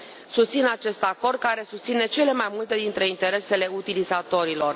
Susțin acest acord, care susține cele mai multe dintre interesele utilizatorilor.